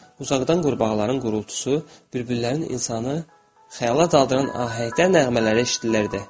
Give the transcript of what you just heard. Uzaqdan qurbağaların qırıltısı, bir-birlərin insanı xəyala daldıran ahəngdə nəğmələri eşidilərdi.